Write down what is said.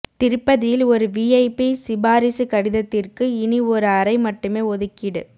திருப்பதியில் ஒரு விஐபி சிபாரிசு கடிதத்திற்கு இனி ஒரு அறை மட்டுமே ஒதுக்கீடு